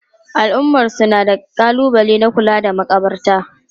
Al'ummarsu na da kalubale na kula da makabarta.